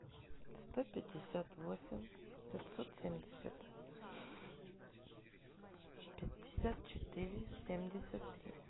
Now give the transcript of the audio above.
сто пятьдесят восемь пятьсот семьдесят пятьдесят четыре семьдесят три